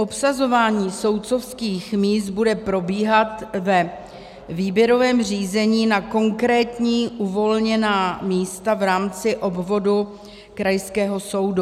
Obsazování soudcovských míst bude probíhat ve výběrovém řízení na konkrétní uvolněná místa v rámci obvodu krajského soudu.